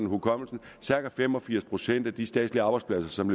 hukommelsen cirka fem og firs procent af de statslige arbejdspladser som